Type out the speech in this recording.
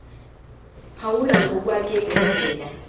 phawula ngokwake kwenzeka